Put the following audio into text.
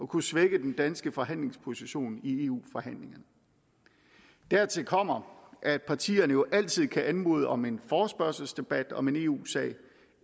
kunne svække den danske forhandlingsposition i eu forhandlingerne dertil kommer at partierne jo altid kan anmode om en forespørgselsdebat om en eu sag